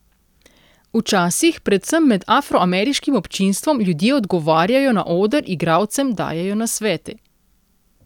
Včasih, predvsem med afroameriškim občinstvom, ljudje odgovarjajo na oder, igralcem dajejo nasvete.